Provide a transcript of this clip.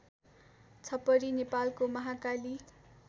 छपरी नेपालको महाकाली